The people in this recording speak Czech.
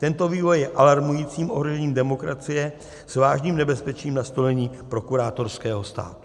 Tento vývoj je alarmujícím ohrožením demokracie s vážným nebezpečím nastolení prokurátorského státu.